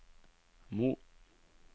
Mo